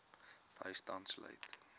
bystand sluit